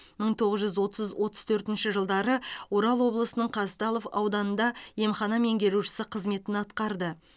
мың тоғыз жүз отыз отыз төртінші жылдары орал облысының казталов ауданында емхана меңгеруші қызметін атқарды